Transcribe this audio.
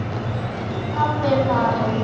Pabbi er farinn.